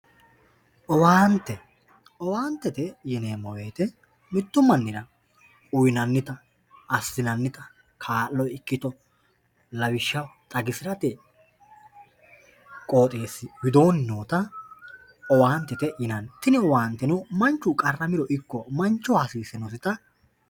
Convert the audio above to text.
owaante owaantete yineemo wooyiite mittu mannira uyiinannita assinannita kaalo ikkito lawishshaho xagisirate qooxeesi widooni noota owantete yinanni tini owaanteno manchu qaramiro ikko manchoho hasisinosita